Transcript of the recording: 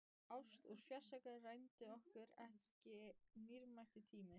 Ást úr fjarska rændi okkur ekki dýrmætum tíma.